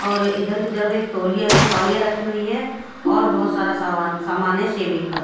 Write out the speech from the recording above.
और इधर की तरफ एक तोलिया भी तोलिया रखी हुई है और बोहोत सारा सामान है शेविंग का--